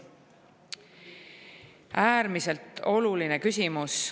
See on äärmiselt oluline küsimus.